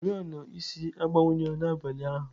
Oriọna isi agbanwughị n'abalị ụnyahụ.